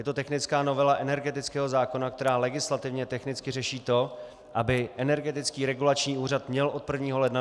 Je to technická novela energetického zákona, která legislativně technicky řeší to, aby Energetický regulační úřad měl od 1. ledna 2016 vedení.